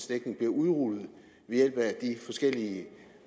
dækning bliver udrullet ved hjælp af de forskellige